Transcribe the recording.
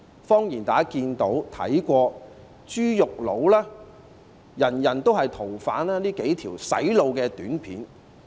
謊言是大家可以看到"豬肉佬"、"人人也是逃犯"等這些"洗腦"短片。